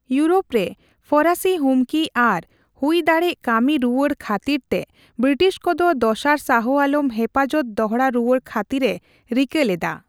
Europe ᱨᱮ ᱯᱷᱚᱨᱟᱥᱤ ᱦᱩᱢᱠᱤ ᱟᱨ ᱦᱩᱭ ᱫᱟᱲᱮᱜ ᱠᱟᱹᱢᱤ ᱨᱩᱣᱟᱹᱲ ᱠᱷᱟᱹᱛᱤᱨᱛᱮ ᱵᱨᱤᱴᱤᱥ ᱠᱚᱫᱚ ᱫᱚᱥᱟᱨ ᱥᱟᱦᱚ ᱟᱞᱚᱢ ᱦᱮᱯᱷᱟᱡᱚᱛ ᱫᱚᱦᱲᱟ ᱨᱩᱣᱟᱹᱲ ᱠᱷᱟᱹᱛᱤᱨ ᱮ ᱨᱤᱠᱟᱹ ᱞᱮᱫᱟ ᱾